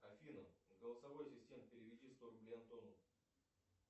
афина голосовой ассистент переведи сто рублей антону